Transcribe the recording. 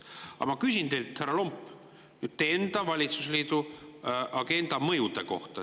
Aga ma küsin teilt, härra Lomp, teie enda valitsusliidu agenda mõjude kohta.